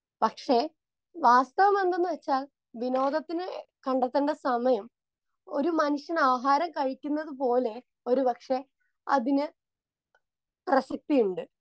Speaker 2 പക്ഷെ വാസ്തവമെന്തെന്നുവെച്ചാൽ വിനോദത്തിന് കണ്ടെത്തേണ്ട സമയം ഒരു മനുഷ്യൻ ആഹാരം കഴിക്കുന്നതുപോലെ ഒരു പക്ഷെ അതിന് പ്രസക്തിയുണ്ട്.